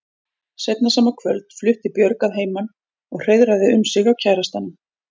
Seinna sama kvöld flutti Björg að heiman og hreiðraði um sig hjá kærastanum.